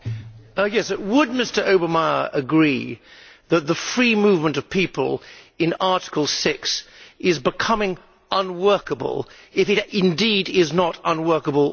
Would Mr Obermayr agree that the free movement of people in Article 6 is becoming unworkable, if indeed it is not unworkable already?